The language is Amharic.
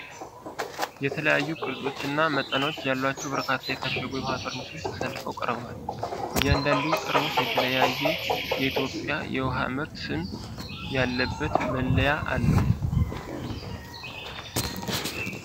የተለያዩ ቅርጾች እና መጠኖች ያላቸው በርካታ የታሸጉ የውኃ ጠርሙሶች ተሰልፈው ቀርበዋል። እያንዳንዱ ጠርሙስ የተለያየ የኢትዮጵያ የውሃ ምርት ስም ያለበት መለያ አለው።